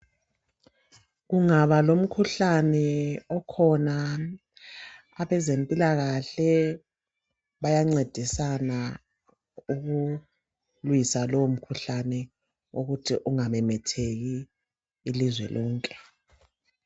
Kungaba lomkhuhlane okhona abezempilakahle bayancedisana ukulwisa lowo mkhuhlane ukuthi ungamemetheki ilizwe lonke.